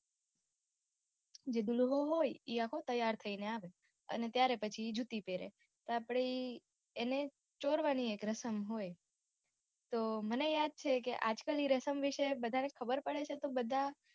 જે દુલ્હો હોય ઈ આખો તૈયાર થહીને આવે ત્યારે પછી જુતી પેરે આપડે એને ચોરવાની એક રસમ હોય તો મને યાદ છે કે આજકાલની રસમ વિશે બધાને ખબર પડે છે બધાં